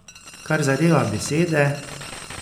Kar zadeva besede ...